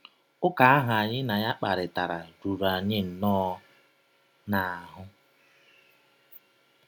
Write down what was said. Ụka ahụ anyị na ya kparịtara ruru anyị nnọọ n’ahụ́.